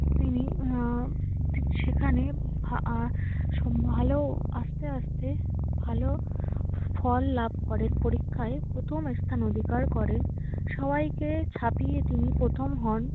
তিনি আহ সেখানে আহ সব ভালো আস্তে আস্তে ভালো ফল লাভ করেন। পরীক্ষায় প্রথম স্থান অধিকার করেন, সবাইকে ছাপিয়ে তিনি প্রথম হন।